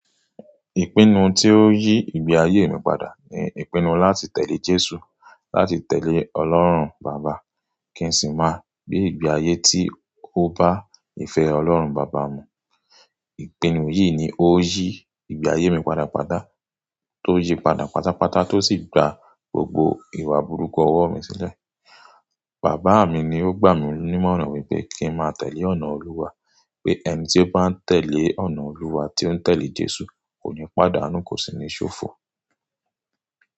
Ìpinnu tí ó yí ìgbé ayé mi padà ni ìpinnu láti tẹ̀lé Jésù, láti tẹ̀lé Ọlọ́run Baba, kí n sì máa gbé ìgbé ayé tí ó bá ìfẹ́ Ọlọ́run Baba mu. Ìpinnu yìí ni ó yí ìgbé ayé mi padà, patà tó yè padà pátápátá tó sì gba gbogbo ìwà burúkú ọwọ́ mi sílẹ̀. Bàbá mi ni ó gbà mí ní mọ́ràn wípé kí n máa tẹ̀lé ọ̀nà Olúwa, pé ẹni tí ó bá ń tẹ̀lé ọ̀nà Olúwa tí ó ń tẹ̀lé Jésù kò ní pàdánù, kò sì ní ṣòfò.